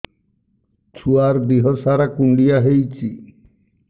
ଛୁଆର୍ ଦିହ ସାରା କୁଣ୍ଡିଆ ହେଇଚି